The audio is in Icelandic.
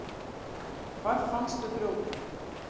Hvar fannstu þrjótinn?